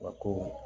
Wa kow